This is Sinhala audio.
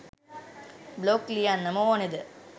බ්ලොග් ලියන්නම ඕනෙද?